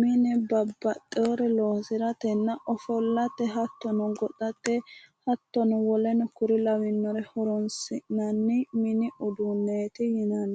mine babbaxxeyore loosiratenna ofollate hattono goxate hattono woleno kuri lawannore horoonsi'nanni mini uduunneeti yinanni